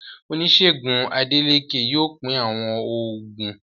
Oníṣègùn Adélékè yóò pín àwọn oògùn.